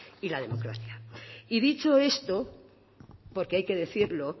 y la democracia y dicho esto porque hay que decirlo